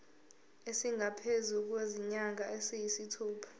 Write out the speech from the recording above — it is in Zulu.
esingaphezu kwezinyanga eziyisithupha